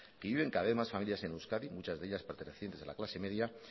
que viven cada vez más familias en euskadi muchas de ellas pertenecientes a la clase media